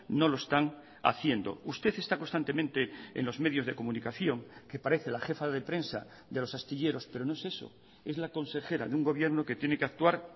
no lo están haciendo usted está constantemente en los medios de comunicación que parece la jefa de prensa de los astilleros pero no es eso es la consejera de un gobierno que tiene que actuar